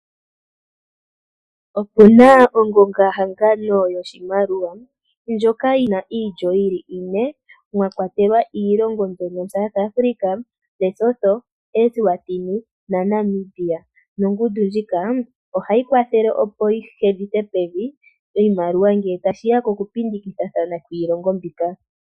Opu na ongonga hangano yoshimaliwa ndjoka yina ine mwakwatelwa South Africa, Lesotho, Eswatini, naNamibia . Nongundu ndjika ohayi kwathele opo hedhithe pevi ngele tashi ya kokupindikathana iimaliwa mbika.